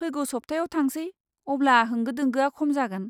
फैगौ सप्तायाव थांसै, अब्ला होंगो दोंगोआ खम जागोन।